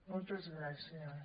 moltes gràcies